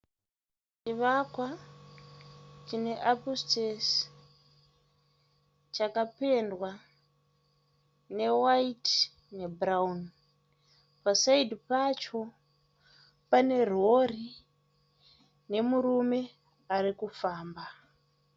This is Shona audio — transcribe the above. Chivakwa chine apusitezi chakapendwa newaiti ne bhurauni. Pasaidhi pacho pane rori nemurume ari kufamba.